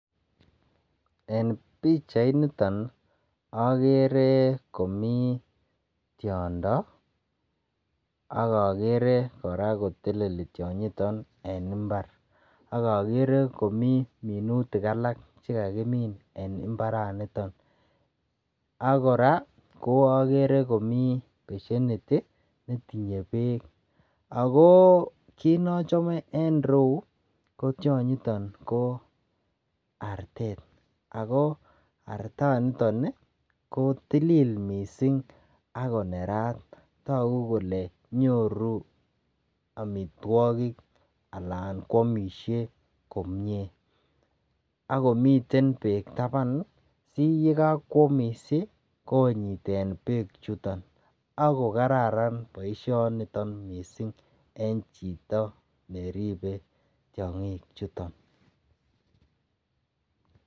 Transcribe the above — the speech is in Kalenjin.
En pichainiton agere komi tiondo ak agere koteleli tionyiton en imbar ak agere komi minutik alak che kakimin en imbaranito ak kora agere komi basienit netinye beek. Ago kit nochome en eriyu ko tionyiton ko artet ago artaniton kotilil mising agonerat. Tagu kole nyoru amitwogik anan kwamisie komie ak komiten beek taban. Siyekakwamis konyiten beechuton ak kokararan boisionito mising en chito neribe tiongichiton.